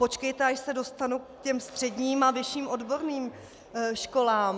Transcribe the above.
Počkejte, až se dostanu k těm středním a vyšším odborným školám.